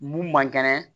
Mun man kɛnɛ